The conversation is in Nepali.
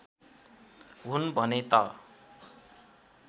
हुन् भने त